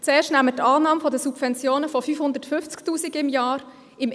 Zuerst gehen wir von Subventionen von 550 000 Franken pro Jahr aus.